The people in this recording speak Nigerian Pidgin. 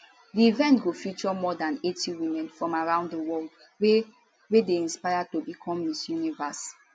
di event go feature more than 80 women from around di world wey wey dey aspire to become miss universe